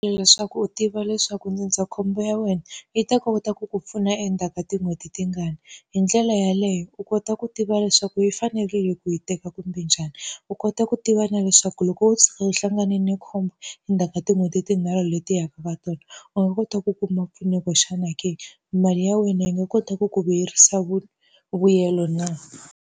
leswaku u tiva leswaku ndzindzakhombo ya wena, yi ta kota ku ku pfuna endzhaku ka tin'hweti tingani. Hi ndlela yeleyo u kota ku tiva leswaku yi fanekerile ku yi teka kumbe njhani. U kota ku tiva na leswaku loko wo tshuka u hlanganile na khombo endzhaku ka tin'hweti tinharhu leti yaka va tona, u nga kota ku kuma mpfuneko xana ke? Mali ya wena yi nga kotaka ku vuyerisa vuyelo na